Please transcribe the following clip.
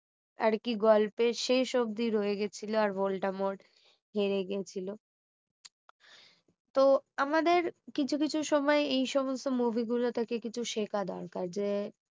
আর কি গল্পের শেষ অবধি রয়ে গেছিলো আর ভোল্টা মোড় হেরে গেছিলো তো আমাদের কিছু কিছু সময় এই সমস্ত movie গুলো থেকে কিছু শেখা দরকার যে